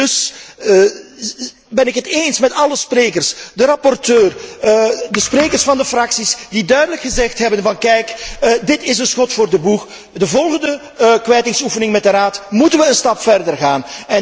En dus ben ik het eens met alle sprekers, de rapporteur, de sprekers van de fracties, die duidelijk hebben gezegd kijk, dit is een schot voor de boeg, bij de volgende kwijtingsoefening met de Raad moeten wij een stap verder gaan.